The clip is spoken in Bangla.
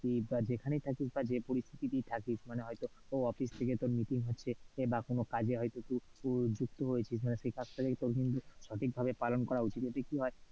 কি যেখানেই থাকিস বা যে পরিস্থিতিতেই থাকিস মানে হয়তো office থেকে তোর meeting হচ্ছে বা কোন কাজে হয়তো তুই যুক্ত হয়েছিস মানে সেই কাজটাকে তোর কিন্তু সঠিক ভাবে পালন করা উচিত।